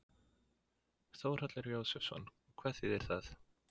Þórhallur Jósefsson: Hvað þýðir það?